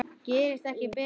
Gerist ekki betra!